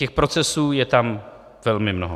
Těch procesů je tam velmi mnoho.